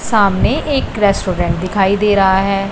सामने एक रेस्टोरेंट दिखाई दे रहा है।